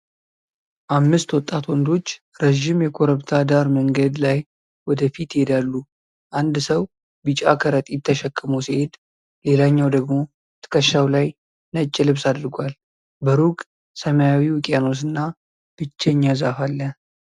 አምስት ወጣት ወንዶች ረዥም የኮረብታ ዳር መንገድ ላይ ወደ ፊት ይሄዳሉ። አንድ ሰው ቢጫ ከረጢት ተሸክሞ ሲሄድ፣ ሌላኛው ደግሞ ትከሻው ላይ ነጭ ልብስ አድርጓል። በሩቅ ሰማያዊ ውቅያኖስና ብቸኛ ዛፍ አለ።